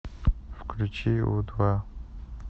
включи у два